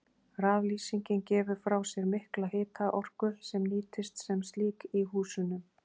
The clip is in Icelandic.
Raflýsingin gefur frá sér mikla hitaorku sem nýtist sem slík í húsunum.